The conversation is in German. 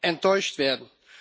enttäuscht werden.